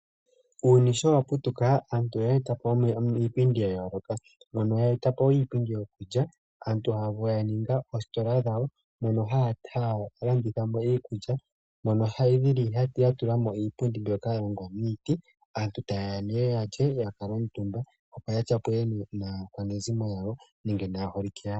Uuyuni sho wa putuka aantu oye eta po iipindi yawo. Mono ye eta po wo iipindi yokulya. Aantu ya ninga oositla dhawo mono haya landitha mo iikulya , mono ya tula mo iipundi mbyoka ya longwa miiti. Aatu taye ya ya lye e taya kuutumba, opo ya tyapule naakwanezimo yawo nenge naaholike yawo.